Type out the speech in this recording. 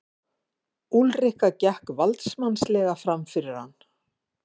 Úlrika gekk valdsmannslega framfyrir hann.